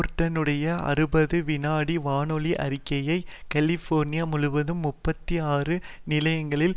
பேர்ட்டனுடைய அறுபது வினாடி வானொலி அறிக்கை கலிபோர்னியா முழுவதும் முப்பத்தி ஆறு நிலையங்களால்